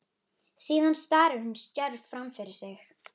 Síðan starir hún stjörf fram fyrir sig.